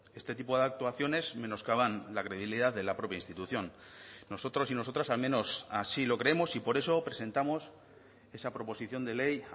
este tipo de actuaciones menoscaban la credibilidad de la propia institución nosotros y nosotras al menos así lo creemos y por eso presentamos esa proposición de ley